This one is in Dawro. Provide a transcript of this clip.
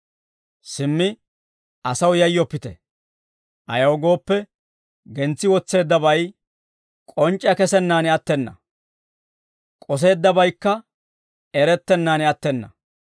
«Simmi asaw yayyoppite; ayaw gooppe, gentsi wotseeddabay k'onc'c'iyaa kesennaan attena; k'oseeddabaykka erettennaan attena.